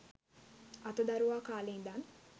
අතදරුවා කාලේ ඉඳන්.